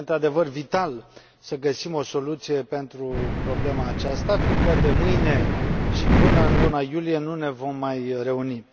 Este, într adevăr, vital, să găsim o soluție pentru problema aceasta, fiindcă de mâine și până în luna iulie nu ne vom mai reuni.